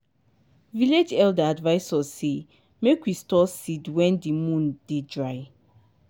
village elder advise us say make we store seed wen di moon dey dry.